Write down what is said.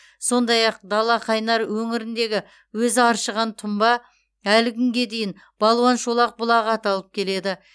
сондай ақ далақайнар өңіріндегі өзі аршыған тұнба әлі күнге дейін балуан шолақ бұлағы аталып келеді